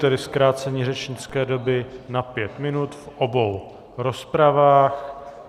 Tedy zkrácení řečnické doby na pět minut v obou rozpravách.